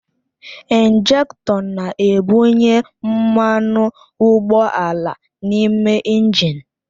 Injektọ na-ebunye mmanụ ụgbọala n'ime injin